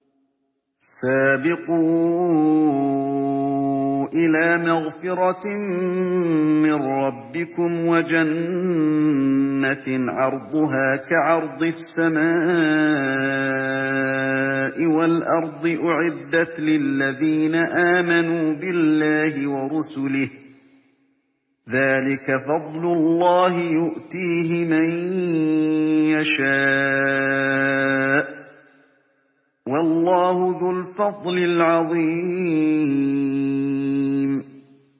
سَابِقُوا إِلَىٰ مَغْفِرَةٍ مِّن رَّبِّكُمْ وَجَنَّةٍ عَرْضُهَا كَعَرْضِ السَّمَاءِ وَالْأَرْضِ أُعِدَّتْ لِلَّذِينَ آمَنُوا بِاللَّهِ وَرُسُلِهِ ۚ ذَٰلِكَ فَضْلُ اللَّهِ يُؤْتِيهِ مَن يَشَاءُ ۚ وَاللَّهُ ذُو الْفَضْلِ الْعَظِيمِ